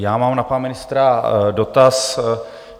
Já mám na pana ministra dotaz.